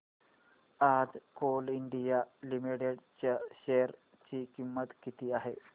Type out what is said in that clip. आज Coal India Limited च्या share ची किंमत किती आहे